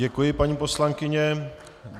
Děkuji, paní poslankyně.